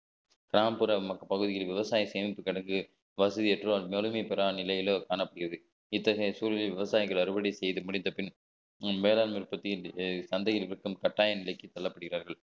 கிராமப்புற மக்~ பகுதியில் விவசாய சேமிப்பு கிடங்கு வசதியற்ற வறுமை பெறா நிலையிலோ காணப்படுகிறது இத்தகைய சூழலில் விவசாயிகள் அறுவடை செய்து முடித்த பின் வேளாண்மை உற்பத்தியில் சந்தையில் விற்கும் கட்டாய விலைக்கு தள்ளப்படுகிறார்கள்